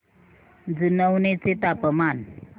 जुनवणे चे तापमान